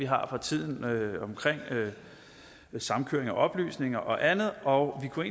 har for tiden om samkøring af oplysninger og andet og vi kunne